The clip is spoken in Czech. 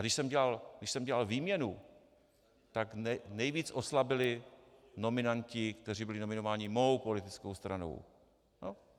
A když jsem dělal výměnu, tak nejvíc oslabili nominanti, kteří byli nominováni mou politickou stranou.